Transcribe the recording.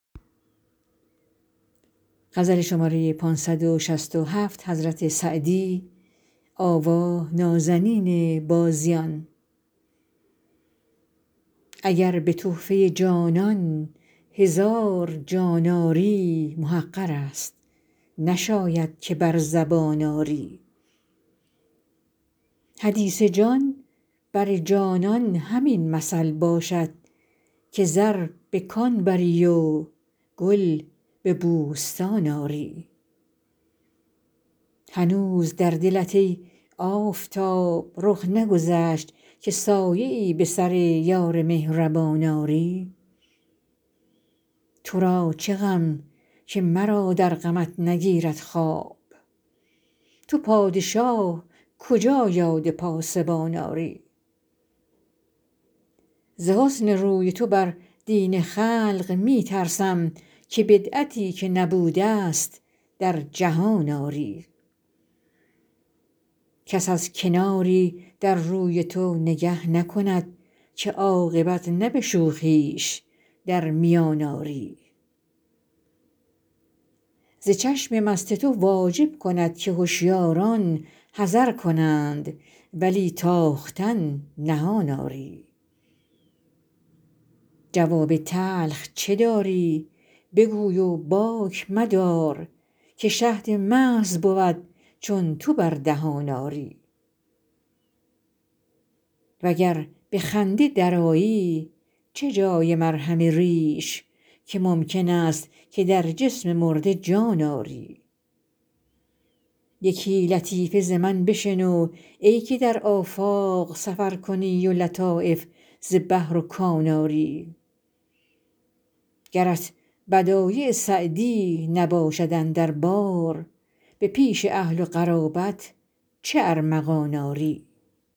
اگر به تحفه جانان هزار جان آری محقر است نشاید که بر زبان آری حدیث جان بر جانان همین مثل باشد که زر به کان بری و گل به بوستان آری هنوز در دلت ای آفتاب رخ نگذشت که سایه ای به سر یار مهربان آری تو را چه غم که مرا در غمت نگیرد خواب تو پادشاه کجا یاد پاسبان آری ز حسن روی تو بر دین خلق می ترسم که بدعتی که نبوده ست در جهان آری کس از کناری در روی تو نگه نکند که عاقبت نه به شوخیش در میان آری ز چشم مست تو واجب کند که هشیاران حذر کنند ولی تاختن نهان آری جواب تلخ چه داری بگوی و باک مدار که شهد محض بود چون تو بر دهان آری و گر به خنده درآیی چه جای مرهم ریش که ممکن است که در جسم مرده جان آری یکی لطیفه ز من بشنو ای که در آفاق سفر کنی و لطایف ز بحر و کان آری گرت بدایع سعدی نباشد اندر بار به پیش اهل و قرابت چه ارمغان آری